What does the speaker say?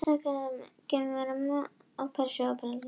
Fyrst er að gera greinarmun á Persíu og Persaveldi.